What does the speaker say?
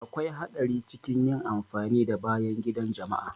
Akwai haɗari cikin yin amfani da bayan gida na jama'a.